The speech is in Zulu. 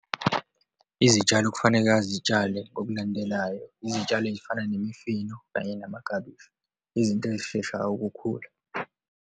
Izitshalo okufaneka azitshale ngokulandelayo, izitshalo eyifana nemifino kanye namaklabishi, izinto eyisheshayo ukukhula.